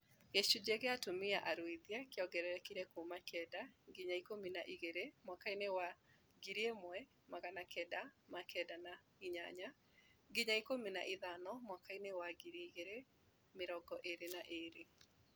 Gĩcunjĩ kĩa atumia aruithie kĩongererekire kuuma kenda nginya ikũmi na igĩrĩ mwaka inĩ wa 1998 nginya ikũmi na ithano mwaka inĩ wa 2022